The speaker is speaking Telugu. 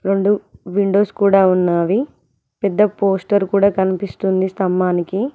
రోండు విండోస్ కూడా ఉన్నవి పెద్ద పోస్టర్ కూడా కనిపిస్తుంది స్తంభానికి.